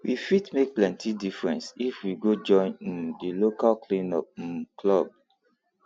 we fit make plenty difference if we go join um di local cleanup um club